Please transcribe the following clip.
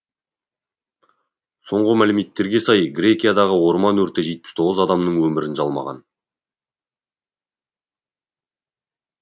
соңғы мәліметтерге сай грекиядағы орман өрті жетпіс тоғыз адамның өмірін жалмаған